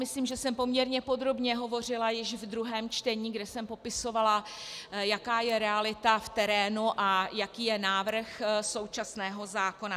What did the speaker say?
Myslím, že jsem poměrně podrobně hovořila již ve druhém čtení, kdy jsem popisovala, jaká je realita v terénu a jaký je návrh současného zákona.